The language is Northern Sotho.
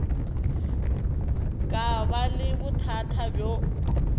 ka ba le bothata bjo